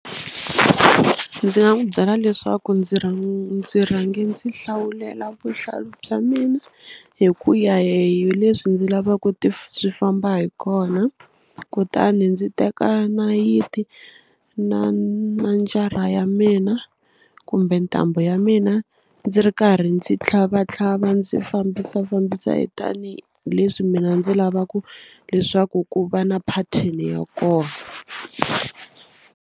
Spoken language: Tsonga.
Ndzi nga n'wu byela leswaku ndzi ndzi rhange ndzi hlawulela vuhlalu bya mina hi ku ya hi leswi ndzi lavaku swi famba hi kona kutani ndzi teka nayiti na na njara ya mina kumbe ntambu ya mina ndzi ri karhi ndzi tlhavatlhava ndzi fambisafambisa tanihileswi mina ndzi lavaku leswaku ku va na pattern ya kona.